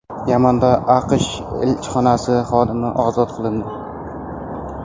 Yamanda AQSh elchixonasi xodimi ozod qilindi.